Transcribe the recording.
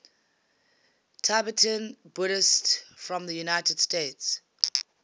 tibetan buddhists from the united states